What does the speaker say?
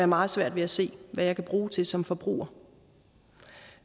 meget svært ved at se hvad jeg kan bruge til som forbruger